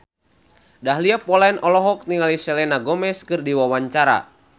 Dahlia Poland olohok ningali Selena Gomez keur diwawancara